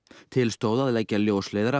til stóð að leggja ljósleiðara